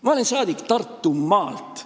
Ma olen rahvasaadik Tartumaalt.